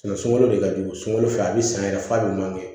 sunkalo de ka jugu sunkalo fɛ a be san yɛrɛ f'a be man kɛ